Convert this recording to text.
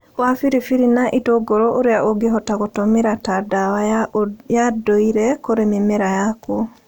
wa biribiri na itũngũrũ ũrĩa ũngĩhota gũtũmĩra ta ndawa ya ndũire kũrĩ mĩmera yaku.